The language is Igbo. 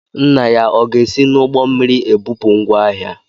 Nna ya ọ ga-esi n'ụgbọ mmiri ebupụ ngwá ahịa?